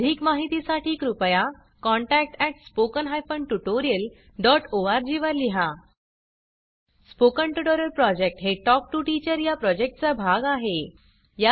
अधिक माहितीसाठी कृपया contact at spoken hyphen tutorial dot O R G वर लिहा स्पोकन ट्युटोरियल प्रॉजेक्ट हे टॉक टू टीचर या प्रॉजेक्टचा भाग आहे